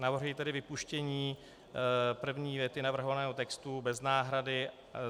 Navrhuji tedy vypuštění první věty navrhovaného textu bez náhrady.